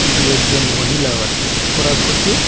দু একজন মহিলাও আসেন ওরা বসে--